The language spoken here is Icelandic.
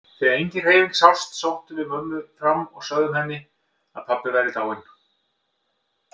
Þegar engin hreyfing sást sóttum við mömmu fram og sögðum henni að pabbi væri dáinn.